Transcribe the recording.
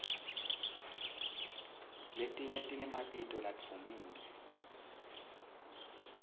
letinye tinemabito ladvumile